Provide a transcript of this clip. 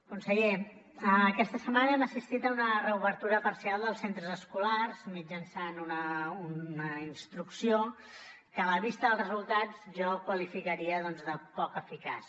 conseller aquesta setmana hem assistit a una reobertura parcial dels centres escolars mitjançant una instrucció que a la vista dels resultats jo qualificaria doncs de poc eficaç